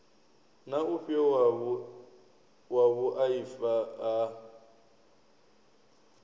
na ufhio wa vhuaifa ha